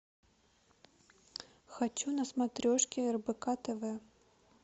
хочу на смотрешке рбк тв